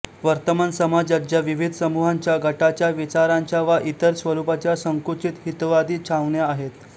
वर्तमान समाजात ज्या विविध समूहांच्यागटाच्याविचारांच्या वा इतर स्वरूपाच्या संकुचित हितवादी छावण्या आहेत